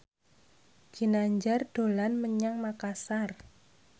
Ginanjar dolan menyang Makasar